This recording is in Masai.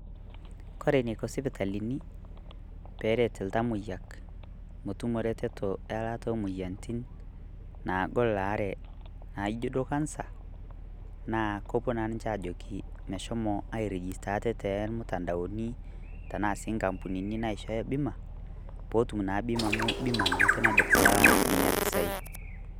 Kore neiko sipitalini pee ereet iltamoyiak metumo reteto elaata emoyiarritin naagol laare naijo doo kansa naa kopoo naa ninchee ajokii meshoomo airijista atee te mutandaoni tana sii nkampunini naishooya bima pootum naa bima amu bima naake naduup atalaa nenia mpisai.